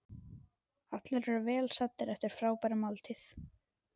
Allir eru vel saddir eftir frábæra máltíð.